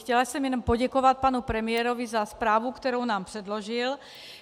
Chtěla jsem jenom poděkovat panu premiérovi za zprávu, kterou nám předložil.